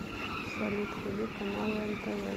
салют вруби каналы нтв